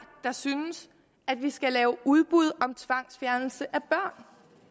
der synes at vi skal have udbud om tvangsfjernelse af børn